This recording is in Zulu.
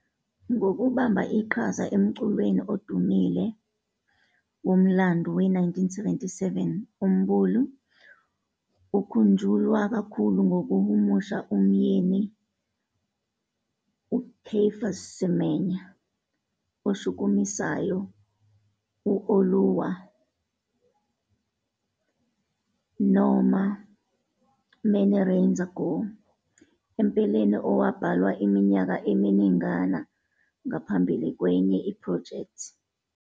Ngokubamba iqhaza emculweni odumile womlando we-1977, uMbulu ukhunjulwa kakhulu ngokuhumusha umyeni kaCaiphus Semenya oshukumisayo u- "Oluwa" aka "Many Rains Ago," empeleni owabhalwa iminyaka eminingana ngaphambili kwenye iphrojekthi.